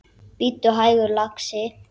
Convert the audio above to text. Bíddu hægur, lagsi.